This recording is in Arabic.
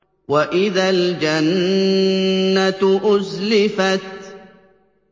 وَإِذَا الْجَنَّةُ أُزْلِفَتْ